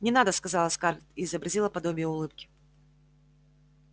не надо сказала скарлетт и изобразила подобие улыбки